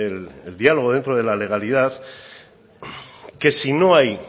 el diálogo dentro de la legalidad que si no hay